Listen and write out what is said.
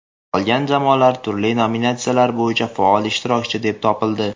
Qolgan jamoalar turli nominatsiyalar bo‘yicha faol ishtirokchi deb topildi.